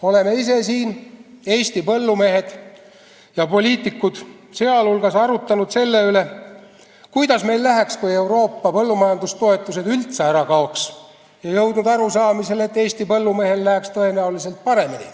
Oleme ise siin, Eesti põllumehed ja poliitikud teiste hulgas, arutanud selle üle, kuidas meil läheks, kui Euroopa põllumajandustoetused üldse ära kaoks, ja jõudnud arusaamale, et Eesti põllumehel läheks tõenäoliselt paremini.